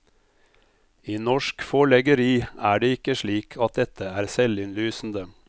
I norsk forleggeri er det ikke slik at dette er selvinnlysende.